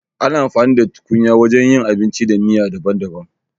Ana amfani da tukunya wajen yin abinci da miya daban-daban.